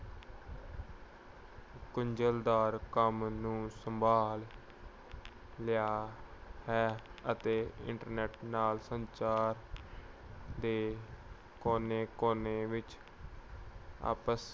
ਗੁੰਝਲਦਾਰ ਕੰਮ ਨੂੰ ਸੰਭਾਲ ਲਿਆ ਹੈ ਅਤੇ internet ਨਾਲ ਸੰਚਾਰ ਦੇ ਕੋਨੇ-ਕੋਨੇ ਵਿੱਚ ਆਪਸ